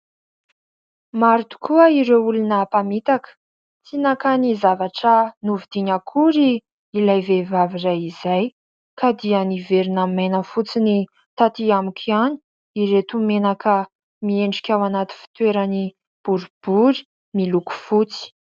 Maro tokoa ireo olona mpamitaka, tsy nankany zavatra novodiany akory ilay vehivavy iray izay ka dia niverina maina fotsiny taty amiko ihany ireto menaka miendrika ao anaty fitoerany boribory miloko fotsy.